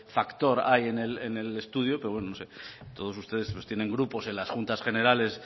factor ahí en el estudio pero bueno no sé todos ustedes tienen grupos en las juntas generales